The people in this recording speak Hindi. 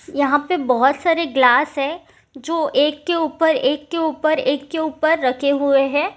यहाँ पे बहुत सारे ग्लास है जो एक के ऊपर एक के ऊपर एक के ऊपर रखे हुए हैं।